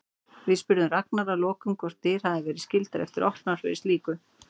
Við spurðum Ragnar að lokum hvort dyr hafi verið skyldar eftir opnar fyrir slíku?